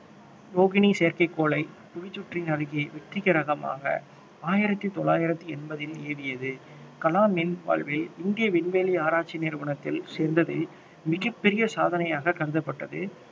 ரோகிணி செயற்கைக்கோளை புவிச்சுற்றின் அருகே வெற்றிகரமாக ஆயிரத்தி தொள்ளாயிரத்தி எண்பதில் ஏவியது கலாமின் வாழ்வில் இந்திய விண்வெளி ஆராய்ச்சி நிறுவனத்தில் சேர்ந்ததில் மிகப்பெரிய சாதனையாக கருதப்பட்டது